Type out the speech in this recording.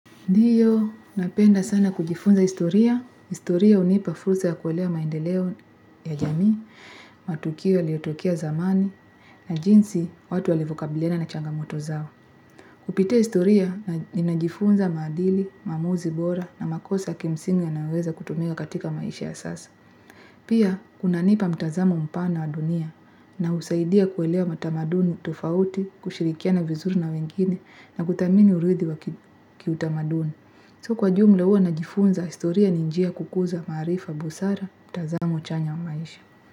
Ndiyo, napenda sana kujifunza historia, historia hunipa fursa ya kuelewa maendeleo ya jamii, matukio yaliotokea zamani, na jinsi watu walivyokabiliana na changamoto zao. Kupitia historia, ninajifunza maadili, maamuzi bora, na makosa ya kimsingi yanayoweza kutumika katika maisha ya sasa. Pia, kunanipa mtazamo mpana wa dunia, na husaidia kuelewa matamaduni tofauti, kushirikiana vizuri na wengine, na kuthamini uridhi wa kiutamaduni. So kwa jumla huwa najifunza historia ni njia ya kukuza maarifa busara, mtazamo chanya wa maisha.